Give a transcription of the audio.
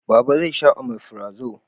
Baba zai sha omefirazo